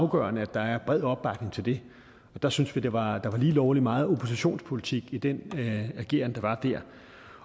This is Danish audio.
afgørende at der er bred opbakning til det der syntes vi at der var lige lovlig meget oppositionspolitik i den ageren der var der